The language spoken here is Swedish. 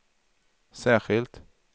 särskilt